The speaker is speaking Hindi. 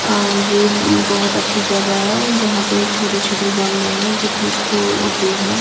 अ यह बहुत अच्छी जगह है जहां पर छोटे-छोटे गमले हैं जिसमें फूल उगे हैं।